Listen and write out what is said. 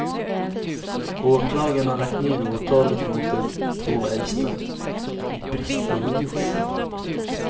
Åklagaren har lagt ned åtalet mot de två äldsta i brist på bevis.